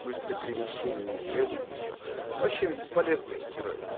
быстрое перемещение не требует ничего вообще бесполезая херовина